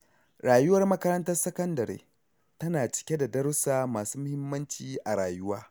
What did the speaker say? Rayuwar makarantar sakandare tana cike da darussa masu muhimmanci a rayuwa.